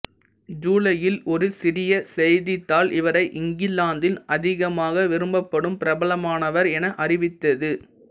ஜூலையில் ஒரு சிறிய செய்தித்தாள் இவரை இங்கிலாந்தின் அதிகமாக விரும்பப்படும் பிரபலமானவர் என அறிவித்தது